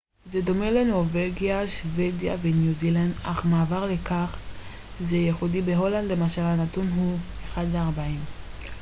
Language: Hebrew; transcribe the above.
זה דומה לנורווגיה שוודיה וניו זילנד אך מעבר לכך זה ייחודי בהולנד למשל הנתון הוא אחד לארבעים